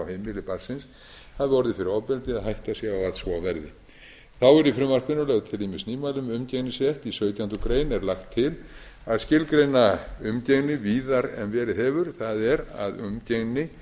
heimili barnsins hafi orðið fyrir ofbeldi eða hætta sé á að svo verði þá eru í frumvarpinu lögð til ýmis nýmæli um umgengnisrétt í sautjándu grein er lagt til að skilgreina umgengni víðar en verið hefur það er að umgengni